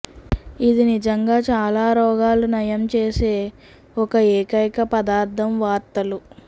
ఇది నిజంగా చాలా రోగాలు నయం చేసే ఒక ఏకైక పదార్ధం వార్తలు